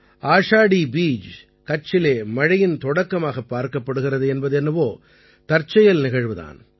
ஆஷாடீ பீஜ் கட்சிலே மழையின் தொடக்கமாகப் பார்க்கப்படுகிறது என்பது என்னவோ தற்செயல் நிகழ்வு தான்